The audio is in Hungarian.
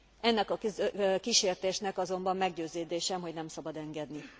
Ennek a kísértésnek azonban meggyőződésem, hogy nem szabad engedni.